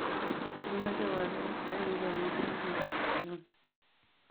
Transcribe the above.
kimache walet en Londianinenyon